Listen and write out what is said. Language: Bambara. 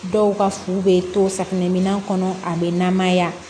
Dɔw ka fu bɛ to safinɛ minan kɔnɔ a bɛ namaya